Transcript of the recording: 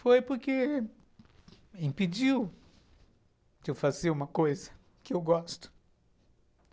Foi porque impediu de eu fazer uma coisa que eu gosto.